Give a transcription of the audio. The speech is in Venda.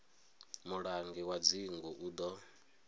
mulangi wa dzingu u ḓo